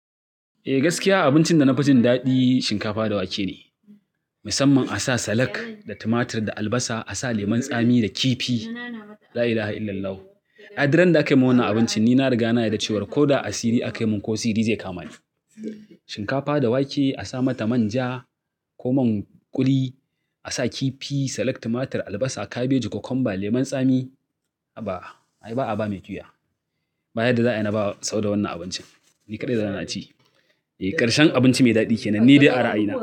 Eh gaskiya abincin da na fi jin daɗi shinkafa da wake ne. Musamman a sa salak, da tumatir, da albasa a sa lemun tsami da kifi. La ilaha illallahu. I dirran da aka min wannan abincin ni na riga na yarda cewa ko da a sirri aka min ko sirri zai kamani. Shinkafa da wake a sa mata manja ko man kuli, a sa kifi, salak, tumatir, albasa, kabeji, kokomba, lemon tsami. Haba i ba a ba mai kyuya. Ba yadda za a yi na ba sau da wannan abincin. Ni kaɗai zan ci. Eh ƙarshen abinci mai daɗi kenan ni dai a ra'ayina.